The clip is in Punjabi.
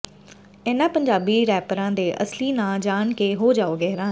ਇਹਨਾਂ ਪੰਜਾਬੀ ਰੈਪਰਾਂ ਦੇ ਅਸਲੀ ਨਾਂਅ ਜਾਣ ਕੇ ਹੋ ਜਾਓਗੇ ਹੈਰਾਨ